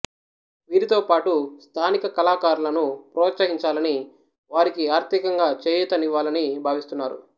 వీరితో పాటు స్థానిక కళాకారులను ప్రోత్సహించాలని వారికి ఆర్థికంగా చేయూత నివ్వాలని భావిస్తున్నారు